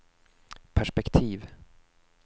perspektiv